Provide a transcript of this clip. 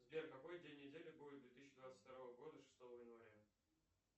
сбер какой день недели будет две тысячи двадцать второго года шестого января